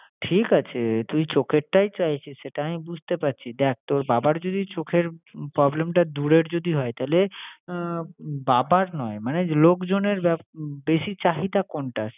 ঠিক আছে, তুই চোখেরটাই চাইছিস সেটা আমি বুঝতে পারছি, দেখ তোর বাবার যদি চোখের problem টা দূরের যদি হয় তাইলে আহ বাবার নয় মানে লোকজনের বেপ~ বেশি চাহিদা কোনটা?